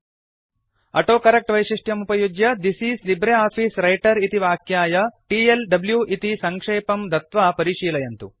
autocorrect वैशिष्ट्यमुपयुज्य this is LibreOffice Writer इति वाक्याय टीएलडब्लू इति सङ्क्षेपं दत्वा परिशीलयन्तु